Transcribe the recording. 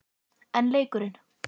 En leikurinn?